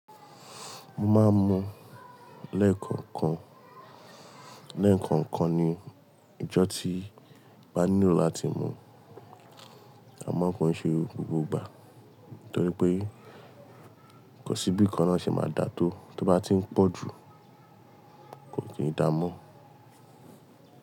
Mo máa ń mu lẹ́ẹ̀kọ̀ọ̀kan, lẹ́ẹ̀kọ̀ọ̀kan ni ijọ́ tí màá nílò láti mú. A má ń kọn ṣẹ gbogbo ìgbà, torí pé kò sí bí ìkan náà ṣe máa dà tó, tó bá ti ń pọ̀ jù kò tíì dà mọ́.